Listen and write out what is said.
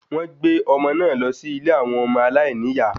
Wọ́n gbé ọmọ náà lọ sí ilé àwọn ọmọ aláìníyà